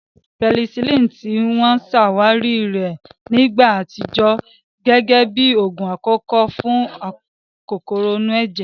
Pẹsilínìì, ti wọ́n ṣe àwárí rẹ̀ ní ìgbà àtijọ́, gẹ́gẹ́ bí oògùn àkọ́kọ́ fún kòkòrò inú ẹ̀jẹ̀